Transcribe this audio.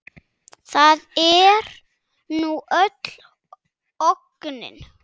Það er nú öll ógnin.